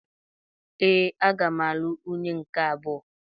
Ee, aga m alụ nwunye nke abụọ.